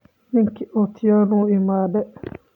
Ninki Atieno wuu iimade.